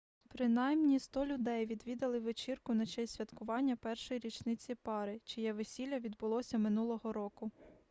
принаймні 100 людей відвідали вечірку на честь святкування першої річниці пари чиє весілля відбулося минулого року